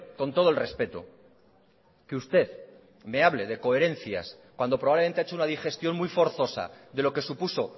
con todo el respeto que usted me hable de coherencias cuando probablemente ha hecho una digestión muy forzosa de lo que supuso